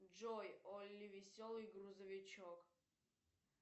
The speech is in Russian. джой олли веселый грузовичок